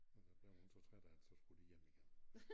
Og der blev hun så træt af det så skulle de hjem igen